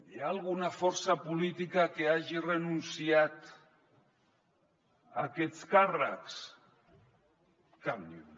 hi ha alguna força política que hagi renunciat a aquests càrrecs cap ni una